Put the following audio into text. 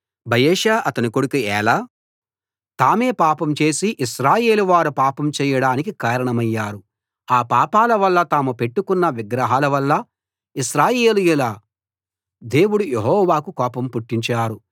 బయెషా అతని కొడుకు ఏలా తామే పాపం చేసి ఇశ్రాయేలు వారు పాపం చేయడానికి కారణమయ్యారు ఆ పాపాల వల్లా తాము పెట్టుకున్న విగ్రహాలవల్లా ఇశ్రాయేలీయుల దేవుడు యెహోవాకు కోపం పుట్టించారు